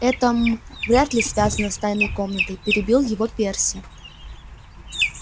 это м вряд ли связано с тайной комнатой перебил его перси